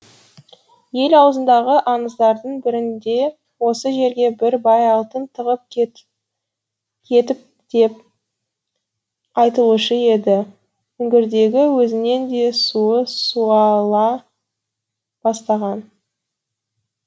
ел аузындағы аңыздардың бірінде осы жерге бір бай алтын тығып кетіпті деп айтылушы еді үңгірдегі өзеннің де суы суала бастаған